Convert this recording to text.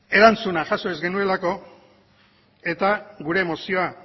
erantzuna jaso ez genuelako eta gure mozioa